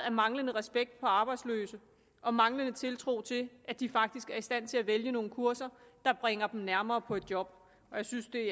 af manglende respekt for arbejdsløse og manglende tiltro til at de faktisk er i stand til at vælge nogle kurser der bringer dem nærmere på et job og jeg synes det